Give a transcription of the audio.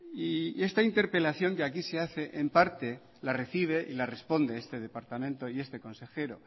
y esta interpelación de aquí se hace en parte la recibe y la responde este departamento y este consejero